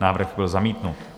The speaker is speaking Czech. Návrh byl zamítnut.